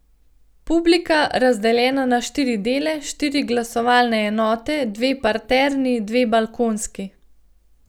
Publika, razdeljena na štiri dele, štiri glasovalne enote, dve parterni, dve balkonski.